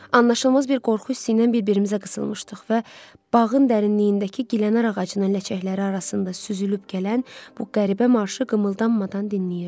Anlaşılmaz bir qorxu hissi ilə bir-birimizə qısılmışdıq və bağın dərinliyindəki gilənar ağacının ləçəkləri arasında süzülüb gələn bu qəribə marşı qımıldanmadan dinləyirdik.